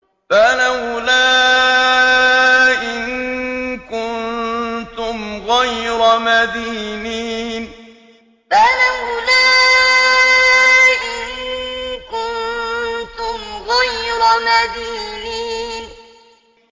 فَلَوْلَا إِن كُنتُمْ غَيْرَ مَدِينِينَ فَلَوْلَا إِن كُنتُمْ غَيْرَ مَدِينِينَ